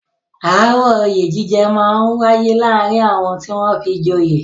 Aáwọ̀ oyè jíjẹ máa ń wáyé láàárín àwọn tí wọ́n fi joyè.